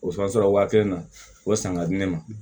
O fana sera waa kelen na o san ka di ne ma